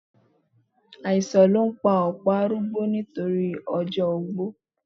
Àìsàn ló ń pa ọ̀pọ̀ arúgbó nítorí ọjọ́ ogbó